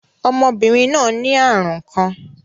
Ọmọbinrin naa ni arun kan.